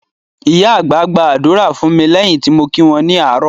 Ìyá àgbà gba ádùrá fún mi lẹ́yìn tí mo kí wọn ní àárò